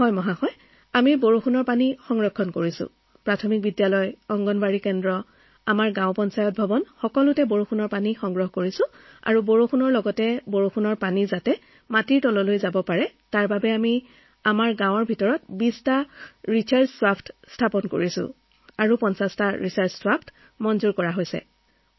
sir বৰষুণৰ পানী সংগ্ৰহ আমাৰ সকলো চৰকাৰী অট্টালিকা যেনে প্ৰাথমিক বিদ্যালয় অংগনবাড়ী কেন্দ্ৰ গাঁও পঞ্চায়ত ভৱন সেই সকলোবোৰ ঠাইৰ পৰা সংগ্ৰহ কৰা বৰষুণৰ পানীৰ এটা ৰিচাৰ্জ খাদ আছে কাৰণ বৰষুণৰ পানী মাটিত পৰাৰ পিছত মাটিত সোমাই যায় অৰ্থাৎ পাৰ্কলেট হব লাগে সেই ধাৰণাটোৰ পৰা আমি আমাৰ গাঁৱত ২০টা ৰিচাৰ্জ খাদ নিৰ্মাণ কৰিছো আৰু ৫০টা ৰিচাৰ্জ খাদ অনুমোদন কৰা হৈছে